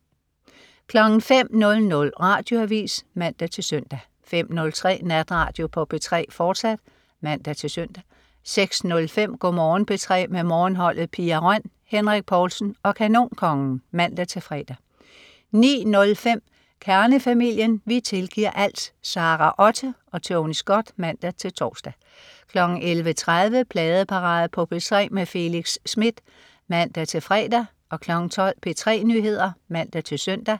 05.00 Radioavis (man-søn) 05.03 Natradio på P3, fortsat (man-søn) 06.05 Go' Morgen P3 med Morgenholdet. Pia Røn, Henrik Povlsen og Kanonkongen (man-fre) 09.05 Kernefamilien. Vi tilgiver alt! Sara Otte og Tony Scott (man-tors) 11.30 Pladeparade på P3 med Felix Smith (man-fre) 12.00 P3 Nyheder (man-søn)